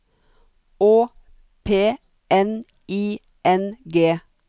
Å P N I N G